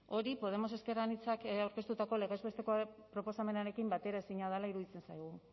hori podemos ezker anitzak aurkeztutako legez besteko proposamenarekin bateraezina dela iruditzen zaigu